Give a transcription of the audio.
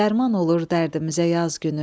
dərman olur dərdimizə yaz günü.